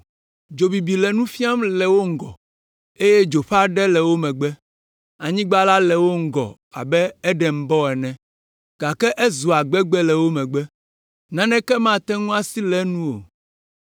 Dzo bibi le nu fiam le wo ŋgɔ eye dzo ƒe aɖewo le wo megbe. Anyigba la le ŋgɔ abe Edenbɔ ene gake ezua gbegbe le wo megbe. Naneke mate ŋu asi le enu o.